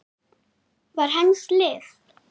var hans lið.